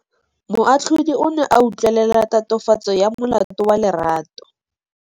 Moatlhodi o ne a utlwelela tatofatsô ya molato wa Lerato.